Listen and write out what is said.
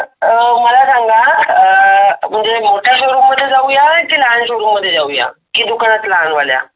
अं मला सांगा अह म्हणजे मोठ्या शोरूम मध्ये जाऊया कि लहान शोरूम मध्ये जाऊया कि दुकानात लहान वाल्या.